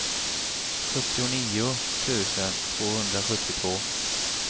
sjuttionio tusen tvåhundrasjuttiotvå